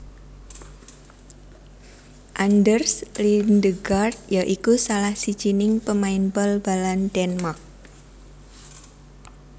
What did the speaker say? Anders Lindegaard ya iku salah sijining pemain bal balan Denmark